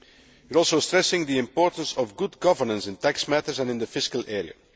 You also stress the importance of good governance in tax matters and in the fiscal area.